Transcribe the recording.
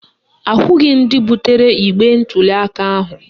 Ahụghị ndị butere igbe ntuliaka ahụ